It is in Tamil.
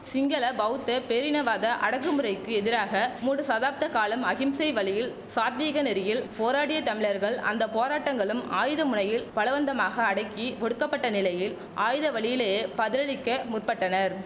சிங்கள பௌத்த பேரினவாத அடக்கு முறைக்கு எதிராக மூடு சாதாப்த காலம் அஹிம்சை வழியில் சாத்வீக நெறியில் போராடிய தமிழர்கள் அந்த போராட்டங்களும் ஆயுத முனையில் பலவந்தமாக அடக்கி ஒடுக்கப்பட்ட நிலையில் ஆயுத வழியிலேயே பதிலளிக்க முற்பட்டனர்